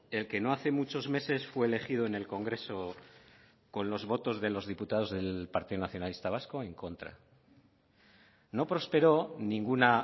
el que no hace muchos meses fue elegido en el congreso con los votos de los diputados del partido nacionalista vasco en contra no prosperó ninguna